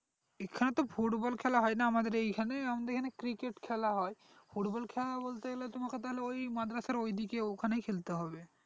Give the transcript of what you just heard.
এখানে তো football খেলা হয়না আমাদের এখানে তো cricket খেলা হয় football খেলা বলতে গেলে তোমকে তাহলে ওই মাদ্রাসার ওদিকে ওখানেই খেলতে হবে